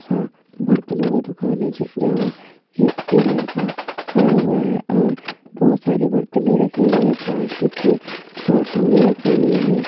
सा-- बर्तनों का दुकान हैजहां एक लड़का खड़ा हुआ है और बहुत सारी बरतने रखे हुए है प्लास्टिक के कारटूने रखी हुई है।